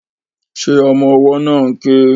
Ṣé ọmọ ọwọ́ náà ń ké?